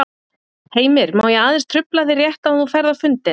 Heimir: Má ég aðeins trufla þig rétt áður en þú ferð á fundinn?